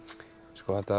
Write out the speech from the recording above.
þetta